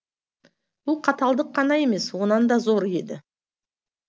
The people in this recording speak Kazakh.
бұл қаталдық қана емес онан да зоры еді